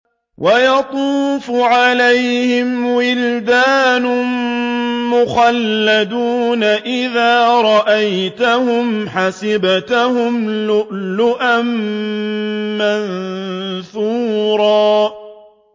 ۞ وَيَطُوفُ عَلَيْهِمْ وِلْدَانٌ مُّخَلَّدُونَ إِذَا رَأَيْتَهُمْ حَسِبْتَهُمْ لُؤْلُؤًا مَّنثُورًا